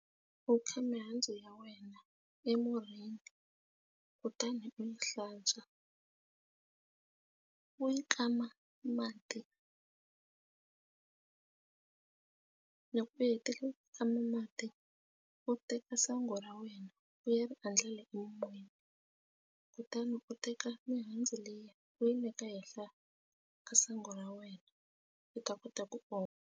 U kha mihandzu ya wena emurhi kutani u yi hlantswa u yi kama mati loko u hetile u tshama mati u teka sangu ra wena u ya ri endlela emimoyeni kutani u teka mihandzu leyi u yi neka ehenhla ka sangu ra wena u ta kota ku oma.